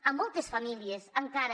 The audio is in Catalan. a moltes famílies encara